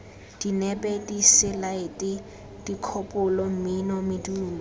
dinepe diselaete dikgopolo mmino medumo